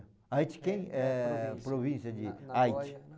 Aichi Ken é província de Aichi.